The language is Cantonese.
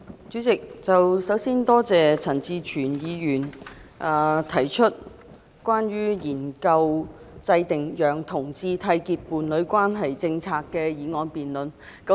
主席，首先，多謝陳志全議員提出"研究制訂讓同志締結伴侶關係的政策"的議案辯論。